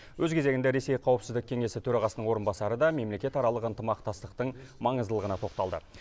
өз кезегінде ресей қауіпсіздік кеңесі төрағасының орынбасары да мемлекетаралық ынтымақтастықтың маңыздылығына тоқталды